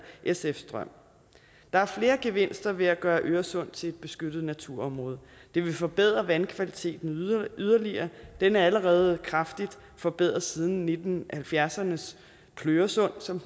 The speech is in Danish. sfs drøm der er flere gevinster ved at gøre øresund til et beskyttet naturområde det vil forbedre vandkvaliteten yderligere den er allerede kraftigt forbedret siden nitten halvfjerdserne s pløresund som